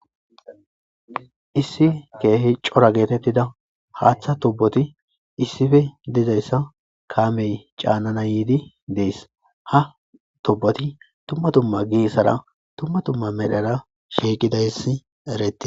Issi kehi cora getetida ha acha tuboti issipe dizaysa kamey canana yididi de'ese ha tuboti dumma dumma medhora shiiqidaes ereyes